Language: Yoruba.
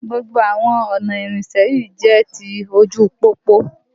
Gbogbo àwọn ọ̀nà ìrìnsẹ̀ yìí jẹ́ ti ojú u pópó